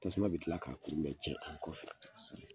Tasuma bɛ tila k'a kun bɛn tiɲɛ an' kɔfɛ.